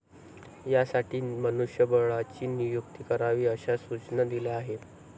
यासाठी मनुष्यबळाची नियुक्ती करावी अशा सूचना दिल्या आहेत.